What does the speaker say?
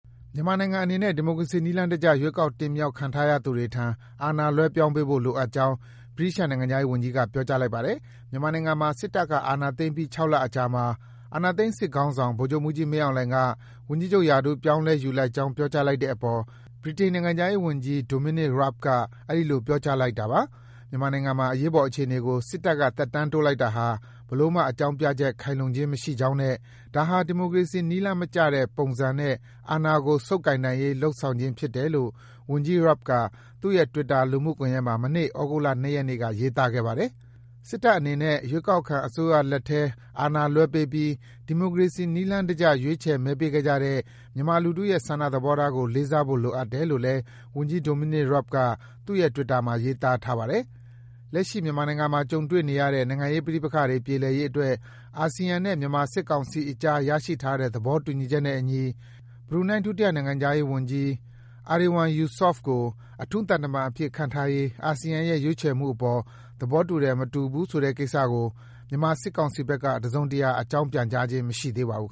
မြန်မာနိုင်ငံအနေနဲ့ ဒီမိုကရေစီနည်းလမ်းတကျ ရွေးကောက်တင်မြောက်ခံထားရသူတွေထံ အာဏာလွဲပြောင်းပေးဖို့ လိုအပ်ကြောင်း ဗြိတိသျှ နိုင်ငံခြားရေးဝန်ကြီးက ပြောကြားလိုက်ပါတယ်။ မြန်မာနိုင်ငံမှာ စစ်တပ်က အာဏာသိမ်းပြီး ၆ လအကြာမှာ အာဏာသိမ်းစစ်ခေါင်းဆောင် ဗိုလ်ချုပ်မှူးကြီး မင်းအောင်လှိုင်က ဝန်ကြီးချုပ်ရာထူး ပြောင်းလဲယူလိုက်ကြောင်း ပြောကြားလိုက်တဲ့အပေါ် ဗြိတိန်နိုင်ငံခြားရေးဝန်ကြီး Dominic Raab က အဲဒီလို ပြောကြားလိုက်တာပါ။ “မြန်မာနိ်ုင်ငံမှာ အရေးပေါ်အခြေအနေကို စစ်တပ်က သက်တမ်းတိုးလိုက်တာဟာ ဘယ်လိုမှ အကြောင်းပြချက် ခိုင်လုံခြင်းမရှိကြောင်းနဲ့ ဒါဟာ ဒီမိုကရေစီနည်းလမ်းမကျတဲ့ပုံစံနဲ့ အာဏာကို ဆုပ်ကိုင်နိုင်ရေး လုပ်ဆောင်ဖြစ်တယ်” - လို့ ဝန်ကြီး Raab က သူ့ရဲ့ Twitter လူမှုကွန်ယက်မှာ မနေ့ သြဂုတ်လ ၂ ရက်နေ့က ရေးသားခဲ့ပါတယ်။ “စစ်တပ်အနေနဲ့ ရွေးကောက်ခံအစိုးရလက်ထဲ အာဏာလွဲပေးပြီး ဒီမိုကရေစီနည်းလမ်းတကျ ရွေးချယ် မဲပေးခဲ့ကြတဲ့ မြန်မာလူထုရဲ့ ဆန္ဒသဘောထားကို လေးစားဖို့ လိုအပ်တယ်” - လို့လည်း ဝန်ကြီး Dominic Raab က သူ့ရဲ့ Twitter မှာ ရေးသားထားပါတယ်။ လက်ရှိ မြန်မာနိုင်ငံမှာ ကြုံတွေ့နေရတဲ့ နိုင်ငံရေးပဋိပက္ခတွေ ပြေလည်ရေးအတွက် အာဆီယံနဲ့ မြန်မာစစ်ကောင်စီအကြား ရရှိထားတဲ့ သဘောတူညီချက်နဲ့အညီ ဘရူနိုင်း ဒုနိုင်ငံခြားရေးဝန်ကြီး Erywan Yusof ကို အထူးသံတမန်အဖြစ် ခန့်ထားရေး အာဆီယံရဲ့ ရွေးချယ်မှုအပေါ် သဘောတူတယ်၊ မတူဘူးဆိုကိစ္စကို မြန်မာစစ်ကောင်စီဘက်က တစုံတရာ အကြောင်းပြန်ကြားခြင်း မရှိသေးပါဘူး။